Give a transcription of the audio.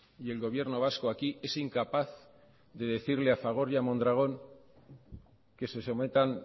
y el gobierno vasco aquí es incapaz de decirle a fagor y a mondragón que se sometan